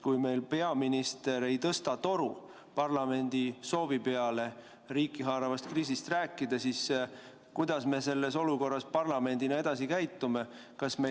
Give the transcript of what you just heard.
Kui meil peaminister ei tõsta toru parlamendi soovi peale riiki haaravast kriisist rääkida, siis kuidas me parlamendina peaksime selles olukorras edasi käituma?